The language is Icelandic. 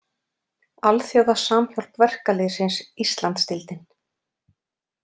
Alþjóða Samhjálp Verkalýðsins Íslandsdeildin.